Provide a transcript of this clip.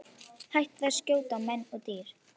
Hættir að skjóta á menn og dýr.